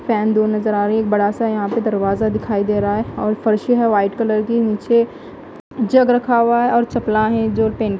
fan दूर नज़र आ रही है एक बड़ा सा यहाँ पे दरवाजा दिखाई दे रहा है और फर्शी है वाइट कलर की नीचे जग रखा हुआ है और चपला है जो पेंट --